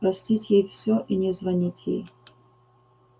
простить ей всё и не звонить ей